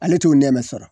Ale t'o nɛmɛ sɔrɔ